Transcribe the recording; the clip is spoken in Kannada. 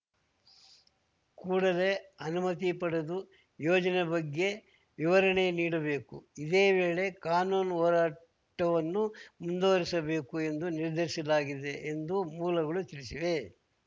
ಕೂಡಲೇ ಅನುಮತಿ ಪಡೆದು ಯೋಜನೆ ಬಗ್ಗೆ ವಿವರಣೆ ನೀಡಬೇಕು ಇದೇ ವೇಳೆ ಕಾನೂನು ಹೋರಾಟವನ್ನೂ ಮುಂದುವರೆಸಬೇಕು ಎಂದು ನಿರ್ಧರಿಸಲಾಗಿದೆ ಎಂದು ಮೂಲಗಳು ತಿಳಿಸಿವೆ